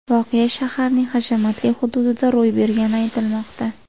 Voqea shaharning hashamatli hududida ro‘y bergani aytilmoqda.